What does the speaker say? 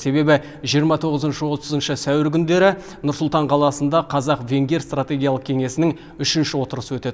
себебі жиырма тоғызыншы отызыншы сәуір күндері нұр сұлтан қаласында қазақ венгер стратегиялық кеңесінің үшінші отырысы өтеді